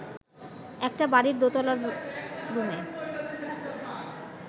একটা বাড়ির দোতলার রুমে